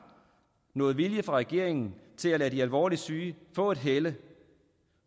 noget vilje fra regeringen til at lade de alvorligt syge få et helle